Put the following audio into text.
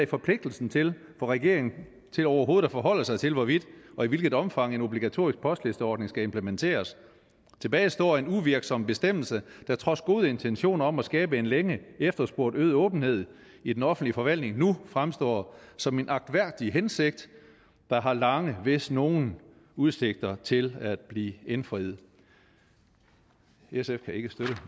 forpligtelsen til for regeringen til overhovedet at forholde sig til hvorvidt og i hvilket omfang en obligatorisk postlisteordning skal implementeres tilbage står en uvirksom bestemmelse der trods gode intentioner om at skabe en længe efterspurgt øget åbenhed i den offentlige forvaltning nu fremstår som en agtværdig hensigt der har lange hvis nogen udsigter til at blive indfriet sf kan ikke støtte